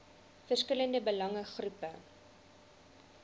verskillende belange groepe